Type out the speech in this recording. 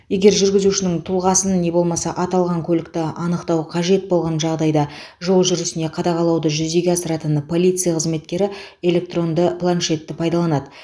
егер жүргізушінің тұлғасын не болмаса аталған көлікті анықтау қажет болған жағдайда жол жүрісіне қадағалауды жүзеге асыратын полиция қызметкері электронды планшетті пайдаланады